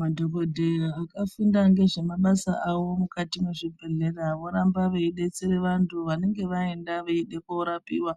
Madhokoteya akafunda nezvemabasa avo mukati mezvibhedhlera voramba veidetsera vantu vanenge vaenda veyide kundorapiwa